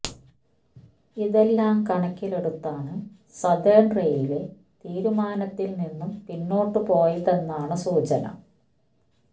ഇതെല്ലാം കണക്കിലെടുത്താണ് സതേൺ റെയിൽവേ തീരുമാനത്തിൽ നിന്നും പിന്നോട്ട് പോയതെന്നാണ് സൂചന